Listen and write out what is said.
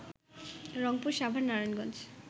Rangpur, Savar, Narayanganj